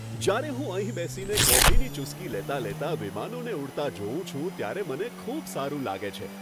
જ્યારે હું અહીં બેસીને કોફીની ચૂસકી લેતાં લેતાં વિમાનોને ઉડતા જોઉં છું ત્યારે મને ખૂબ સારું લાગે છે.